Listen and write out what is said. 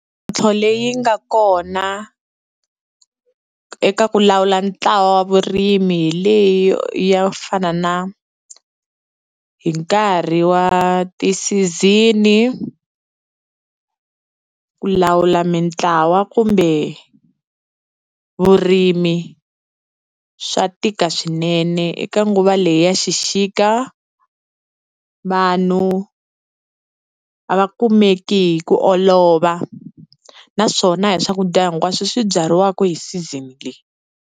Mintlhotlho leyi nga kona eka ku lawula ntlawa wa vurimi hi leyi yo fana na hi nkarhi wa ti-season ku lawula mitlawa kumbe vurimi, swa tika swinene eka nguva leyi ya xixika vanhu a va kumeki hi ku olova, naswona a hi swakudya hinkwaswo swi byariwaka hi season leyi.